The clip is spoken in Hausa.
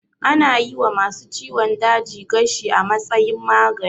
Ana yi wa ma su ciwon daji gashi a matsayin magani